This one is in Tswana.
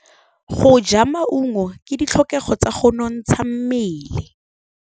Go ja maungo ke ditlhokegô tsa go nontsha mmele.